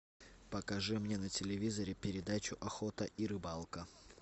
покажи мне на телевизоре передачу охота и рыбалка